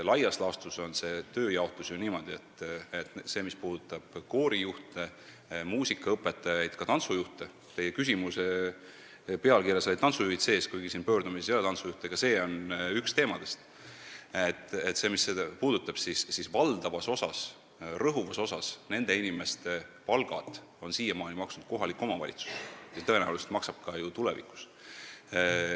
Laias laastus on see tööjaotus ju selline, et mis puudutab koorijuhte, muusikaõpetajaid ja ka tantsujuhte – teie küsimuse pealkirjas olid tantsujuhid sees, kuigi pöördumises ei ole tantsujuhte mainitud, aga ka see valdkond on üks teemadest –, siis valdavas osas, rõhuvas osas on nende inimeste palka siiamaani maksnud kohalik omavalitsus ja tõenäoliselt maksab ka tulevikus.